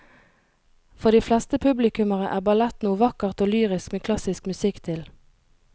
For de fleste publikummere er ballett noe vakkert og lyrisk med klassisk musikk til.